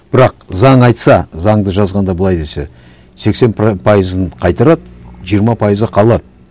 бірақ заң айтса заңды жазғанда былай десе сексен пайызын қайтарады жиырма пайызы қалады